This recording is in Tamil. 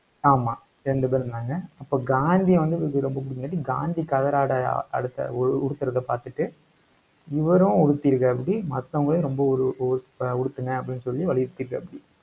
ஆமா, ரெண்டு பேர் இருந்தாங்க. அப்ப காந்திய வந்து, இவருக்கு ரொம்ப காந்தி கதராடை அஹ் அழுத்த, உ~ உடுத்துறத பாத்துட்டு இவரும் உடுத்தியிருக்காப்புடி மத்தவங்களையும், ரொம்ப ஒரு ஒரு அஹ் உடுத்துங்க அப்படின்னு சொல்லி வலியுறுத்திருக்காப்டி.